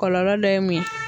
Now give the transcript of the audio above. Kɔlɔlɔ dɔ ye mun ye?